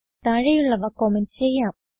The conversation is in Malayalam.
താഴെയുള്ളവ കമന്റ് ചെയ്യാം